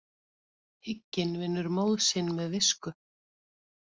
Hygginn vinnur móð sinn með visku.